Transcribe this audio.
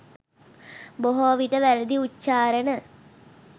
බොහෝවිට වැරදි උච්චාරණ,